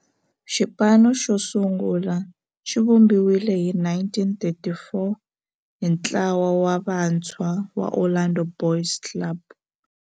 Xipano xosungula xivumbiwile hi 1934 hi ntlawa wa vantshwa va Orlando Boys Club.